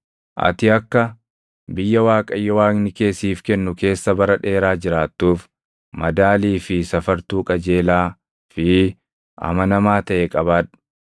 Ati akka biyya Waaqayyo Waaqni kee siif kennu keessa bara dheeraa jiraattuuf madaalii fi safartuu qajeelaa fi amanamaa taʼe qabaadhu.